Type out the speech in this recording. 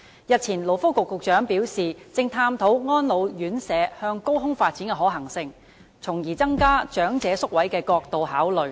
日前，勞工及福利局局長表示正探討安老院舍向高空發展的可行性，從增加長者宿位的角度考慮。